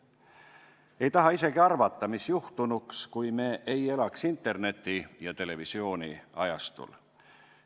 Ei taha isegi arvata, mis juhtunuks, kui me ei elaks interneti- ja televisiooniajastul.